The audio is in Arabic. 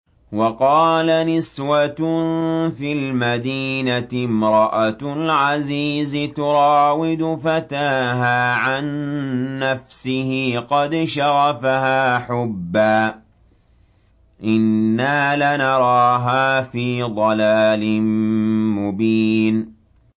۞ وَقَالَ نِسْوَةٌ فِي الْمَدِينَةِ امْرَأَتُ الْعَزِيزِ تُرَاوِدُ فَتَاهَا عَن نَّفْسِهِ ۖ قَدْ شَغَفَهَا حُبًّا ۖ إِنَّا لَنَرَاهَا فِي ضَلَالٍ مُّبِينٍ